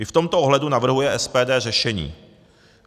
I v tomto ohledu navrhuje SPD řešení.